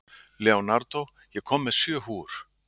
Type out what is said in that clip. Leonardo, ég kom með sjö húfur!